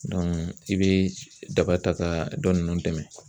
i bɛ daba ta ka dɔ ninnu dɛmɛn.